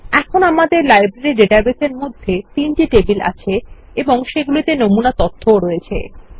এখন আমাদের লাইব্রেরী ডাটাবেসের মধ্যে তিনটি টেবিল আছে এবং সেগুলিতে নমুনা তথ্যও আছে